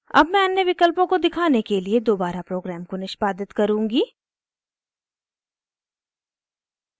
अब मैं अन्य विकल्पों को दिखाने के लिए दोबारा प्रोग्राम को निष्पादित करुँगी